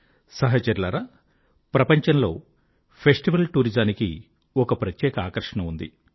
సహచరులారా ప్రపంచంలో ఫెస్టివల్ టూరిజానికి ఒక ప్రత్యేక ఆకర్షణ ఉంది